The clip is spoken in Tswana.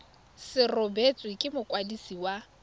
se rebotswe ke mokwadisi wa